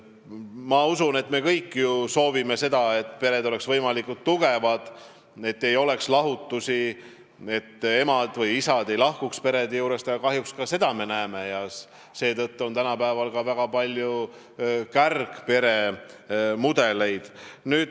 Ma usun, et me kõik soovime, et pered oleks võimalikult tugevad, et ei oleks lahutusi, et emad ega isad ei lahkuks perede juurest, aga kahjuks me sedagi näeme ja seetõttu on tänapäeval ka väga palju kärgperesid.